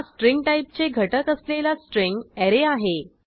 हा स्ट्रिंग टाईपचे घटक असलेला स्ट्रिंग ऍरे आहे